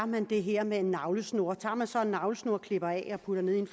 man det her med en navlesnor tager man så en navlesnor og klipper af og putter ned i en